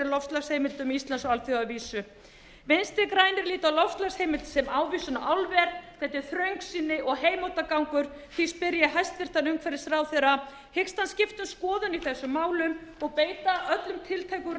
loftslagsheimildum íslands á alþjóðavísu vinstri grænir líta á loftslagsheimild sem ávísun á álver þetta er þröngsýni og heimóttargangur því spyr ég hæstvirtur umhverfisráðherra hyggst hann skipta um skoðun í þessum málum og beita öllum tiltækum